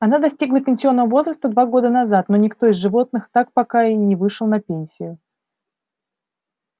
она достигла пенсионного возраста два года назад но никто из животных так пока и не вышел на пенсию